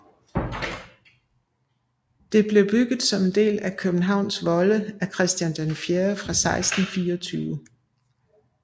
Det blev bygget som en del af Københavns volde af Christian IV fra 1624